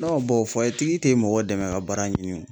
fayetigi tɛ mɔgɔ dɛmɛ ka baara ɲini o.